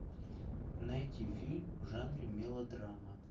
найти фильм в жанре мелодрама